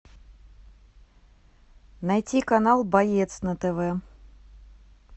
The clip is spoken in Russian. найти канал боец на тв